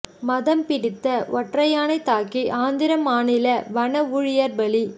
மதம் பிடித்த ஒற்றையானை தாக்கி ஆந்திர மாநில வன ஊழியா் பலி